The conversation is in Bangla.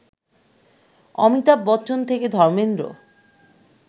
অমিতাভ বচ্চন থেকে ধর্মেন্দ্র